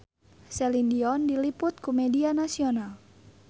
Celine Dion diliput ku media nasional